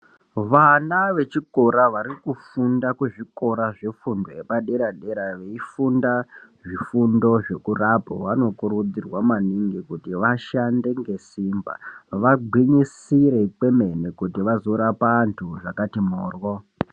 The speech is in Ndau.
Vana vechikora vari kufunda kuzvikora zvefundo zvepadera-dera, veifunda zvifundo zvokurapa, vanokurudzirwa maningi ,kuti vashande ngesimba, vagwinyisire kwemene ,kuti vazorapa antu zvakati mhoryo.